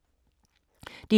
DR K